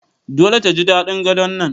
Dole ta ji daɗin Gadon nan